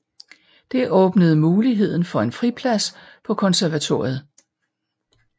Det åbnede muligheden for en friplads på konservatoriet